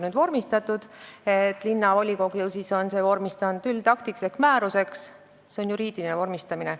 See, et linnavolikogu on selle vormistanud üldakti ehk määrusena, on juriidiline vormistamine.